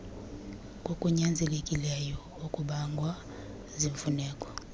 kokunyanzelekileyo okubangwa ziimfuneko